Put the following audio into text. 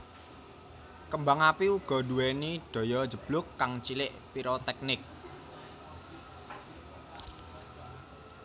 Kembang api uga nduwéni daya njeblug kang cilik piroteknik